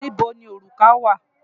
Níbo ni òrùka wà?